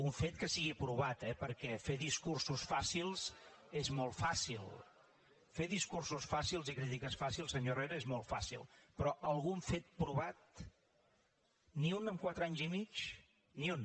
un fet que sigui provat eh perquè fer discursos fàcils és molt fàcil fer discursos fàcils i crítiques fàcils senyor herrera és molt fàcil però algun fet provat ni un en quatre anys i mig ni un